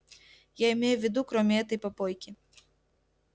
я имею в виду кроме этой попойки